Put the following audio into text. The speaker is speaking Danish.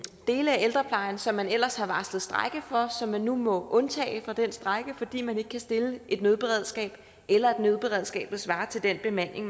dele af ældreplejen som man ellers har varslet strejke for og som man nu må undtage fra den strejke fordi man ikke kan stille med et nødberedskab eller et nødberedskab der svarer til den bemanding